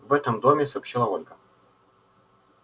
в этом доме сообщила ольга